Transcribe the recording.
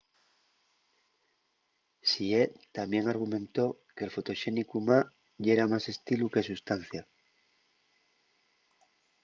hsieh tamién argumentó que’l fotoxénicu ma yera más estilu que sustancia